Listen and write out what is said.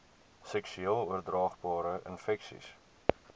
seksueel oordraagbare infeksies